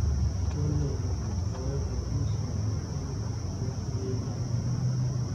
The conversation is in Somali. olly hooyo may isoo dirtey wax iimayl ah